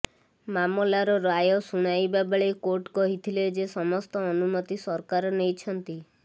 ମାମଲାର ରାୟ ଶୁଣାଇବା ବେଳେ କୋର୍ଟ କହିଥିଲେ ଯେ ସମସ୍ତ ଅନୁମତି ସରକାର ନେଇଛନ୍ତି